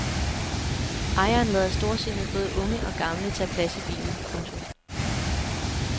Ejeren lader storsindet både unge og gamle tage plads i bilen. punktum